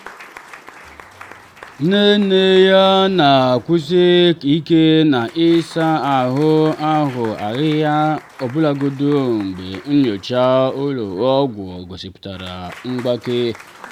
nne nne ya na-ekwusi ike na ịsa ahụ ahụ ahịhịa ọbụlagodi mgbe nyocha ụlọ ọgwụ gosipụtara mgbake.